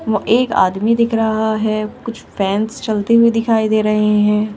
ओ एक आदमी दिख रहा है कुछ फैंस चलते हुए दिखाई दे रहे हैं।